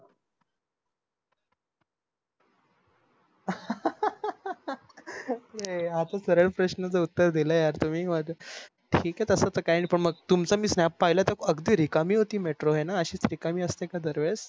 हा सरळ प्रश्नच उत्तर दिल यार तुम्ही मग ठीक आहे तस काय नाय तुमच snap पाहिलं त अगदी निकामी होती metro अशीच रिकामी असते का दर वेळेस हो